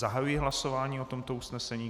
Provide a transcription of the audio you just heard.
Zahajuji hlasování o tomto usnesení.